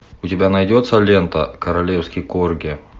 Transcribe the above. у тебя найдется лента королевский корги